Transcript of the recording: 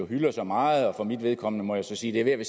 hylder så meget for mit vedkommende må jeg så sige at